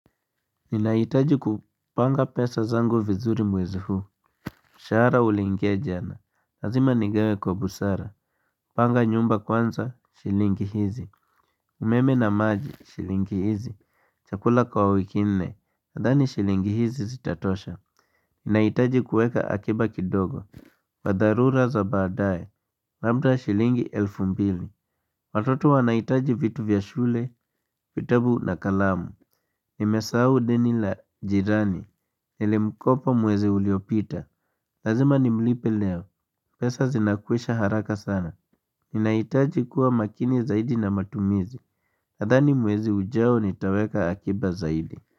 Ninahitaji kupanga pesa zangu vizuri mwezi huu mshahara uliingia jana. Lazima nigawe kwa busara Panga nyumba kwanza, shilingi hizi umeme na maji, shilingi hizi Chakula kwa wiki nne, nadhani shilingi hizi zitatosha Ninahitaji kuweka akiba kidogo wa dharura za baadaye. Labda shilingi elfu mbili. Watoto wanahitaji vitu vya shule vitabu na kalamu. Nimesahau deni la jirani. Nilimkopa mwezi uliopita Lazima nimlipe leo. Pesa zinakwisha haraka sana. Ninahitaji kuwa makini zaidi na matumizi. Nadhani mwezi ujao nitaweka akiba zaidi.